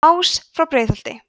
ás frá breiðholti